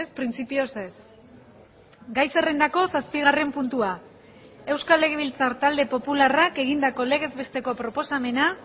printzipioz ez gai zerrendako zazpigarren puntua euskal legebiltzar talde popularrak egindako legez besteko proposamena